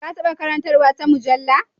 Ka taɓa karantar wata mujalla?